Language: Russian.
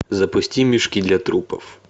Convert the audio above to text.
запусти мешки для трупов